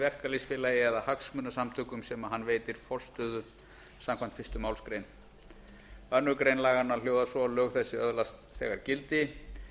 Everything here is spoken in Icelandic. verkalýðsfélagi eða hagsmunasamtökum sem hann veitir forstöðu samkvæmt fyrstu málsgrein annarrar laganna hljóðar svo lög þessi öðlast þegar gildi